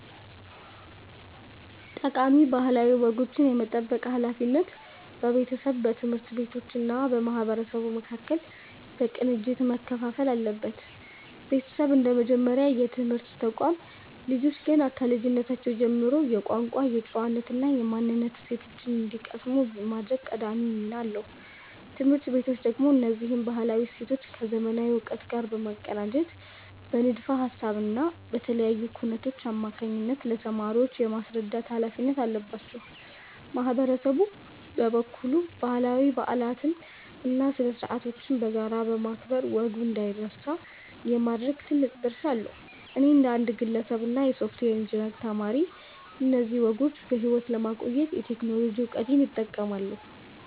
ጠቃሚ ባህላዊ ወጎችን የመጠበቅ ሃላፊነት በቤተሰብ፣ በትምህርት ቤቶች እና በማህበረሰቡ መካከል በቅንጅት መከፋፈል አለበት። ቤተሰብ እንደ መጀመሪያ የትምህርት ተቋም፣ ልጆች ገና ከልጅነታቸው ጀምሮ የቋንቋ፣ የጨዋነት እና የማንነት እሴቶችን እንዲቀስሙ የማድረግ ቀዳሚ ሚና አለው። ትምህርት ቤቶች ደግሞ እነዚህን ባህላዊ እሴቶች ከዘመናዊ እውቀት ጋር በማቀናጀት በንድፈ ሃሳብ እና በተለያዩ ኩነቶች አማካኝነት ለተማሪዎች የማስረዳት ሃላፊነት አለባቸው። ማህበረሰቡ በበኩሉ ባህላዊ በዓላትን እና ስነ-ስርዓቶችን በጋራ በማክበር ወጉ እንዳይረሳ የማድረግ ትልቅ ድርሻ አለው። እኔ እንደ አንድ ግለሰብ እና የሶፍትዌር ኢንጂነሪንግ ተማሪ፣ እነዚህን ወጎች በሕይወት ለማቆየት የቴክኖሎጂ እውቀቴን እጠቀማለሁ።